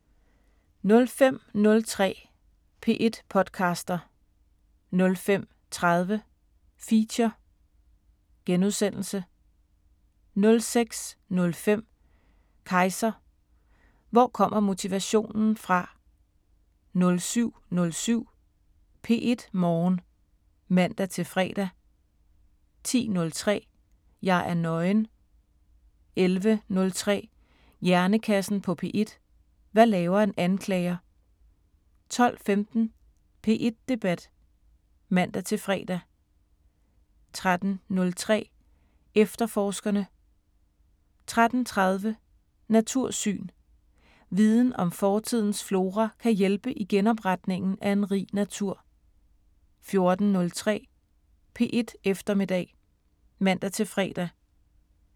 05:03: P1 podcaster 05:30: Feature * 06:05: Kejser: Hvor kommer motivationen fra? 07:07: P1 Morgen (man-fre) 10:03: Jeg er nøgen 11:03: Hjernekassen på P1: Hvad laver en anklager? 12:15: P1 Debat (man-fre) 13:03: Efterforskerne 13:30: Natursyn: Viden om fortidens flora kan hjælpe i genopretningen af en rig natur 14:03: P1 Eftermiddag (man-fre)